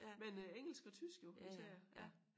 Men øh engelsk og tysk jo især ja